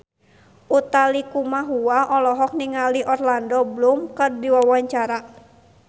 Utha Likumahua olohok ningali Orlando Bloom keur diwawancara